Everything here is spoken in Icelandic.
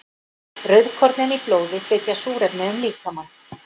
Rauðkornin í blóði flytja súrefni um líkamann.